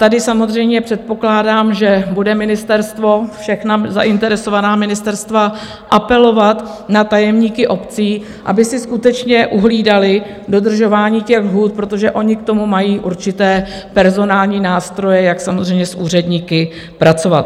Tady samozřejmě předpokládám, že bude ministerstvo, všechna zainteresovaná ministerstva, apelovat na tajemníky obcí, aby si skutečně uhlídali dodržování těch lhůt, protože oni k tomu mají určité personální nástroje, jak samozřejmě s úředníky pracovat.